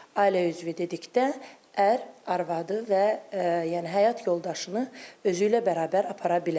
Ailə üzvü dedikdə ər, arvadı və yəni həyat yoldaşını özü ilə bərabər apara bilər.